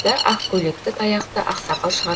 ақ көйлекті таяқты аксақал шығар